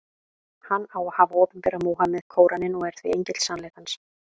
Hann á að hafa opinberað Múhameð Kóraninn, og er því engill sannleikans.